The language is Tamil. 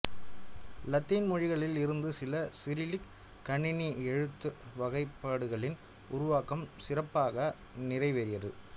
லத்தீன் மொழிகளில் இருந்து சில சிரிலிக் கணினி எழுத்து வகைப்பாடுகளின் உருவாக்கம் சிறப்பாக நிறைவேரியது